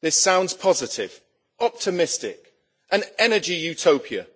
This sounds positive, optimistic, an energy utopia